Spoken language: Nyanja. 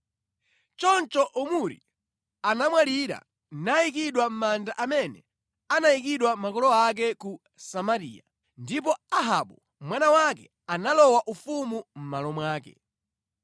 Choncho Omuri anamwalira nayikidwa mʼmanda amene anayikidwa makolo ake ku Samariya. Ndipo Ahabu mwana wake analowa ufumu mʼmalo mwake.